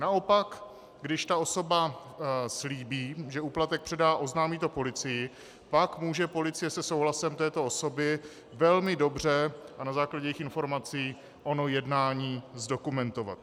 Naopak když ta osoba slíbí, že úplatek předá, oznámí to policii, pak může policie se souhlasem této osoby velmi dobře a na základě jejích informací ono jednání zdokumentovat.